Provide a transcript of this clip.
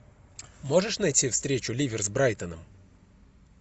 можешь найти встречу ливер с брайтоном